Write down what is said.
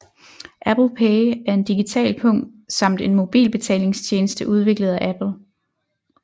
Apple Pay er en digital pung samt en mobilbetalingstjeneste udviklet af Apple